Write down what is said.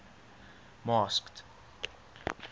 masked